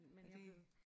Er det